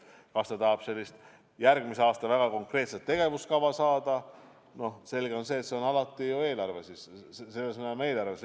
Kui ta tahab järgmise aasta väga konkreetset tegevuskava leida, siis selge see, et selles mõttes on alati eelarve õige allikas.